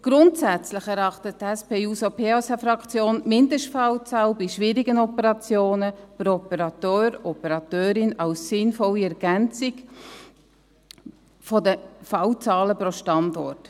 Grundsätzlich erachtet die SP-JUSO-PSA-Fraktion die Mindestfallzahl bei schwierigen Operationen pro Operateur/Operateurin als sinnvolle Ergänzung der Fallzahlen pro Standort.